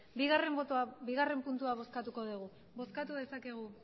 bigarren puntua bozkatuko dugu bozkatu dezakegu